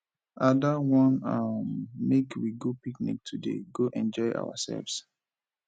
ada wan um make we go picnic today go enjoy ourselves